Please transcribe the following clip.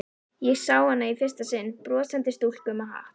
Ég sá hana í fyrsta sinn, brosandi stúlku með hatt.